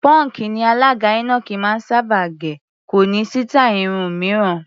Pọ́ǹkì ni alàgbà Enoch máa ń sábà gẹ̀, kò ní sítáì irun mìíràn.